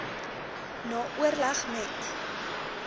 na oorleg met